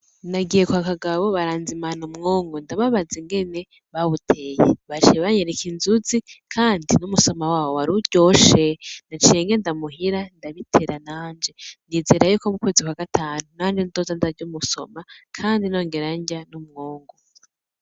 Nagiye kwa Kagabo baranzimana umwungu ndababaza ingene bawuteye baciye banyereka inzuzi kandi n'umusoma wawo waruryoshe naciye ngenda muhira ndabitera nanje nizera yuko mu kwezi kwa gatanu nanje nzoja ndarya umusoma kandi no ngera ndya n'umwungu.